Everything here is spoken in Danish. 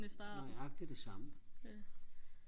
nøjagtigt det samme